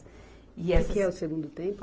E essas. O que que é o Segundo Tempo?